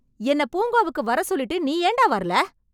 என்னப் பூங்காவுக்கு வரசொல்லிட்டு நீ ஏண்டா வரல?